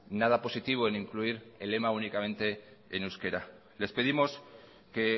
nada positivo en incluir el lema únicamente en euskera les pedimos que